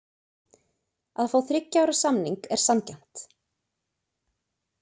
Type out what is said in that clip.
Að fá þriggja ára samning er sanngjarnt.